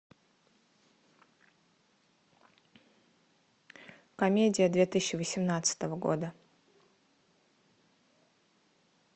комедия две тысячи восемнадцатого года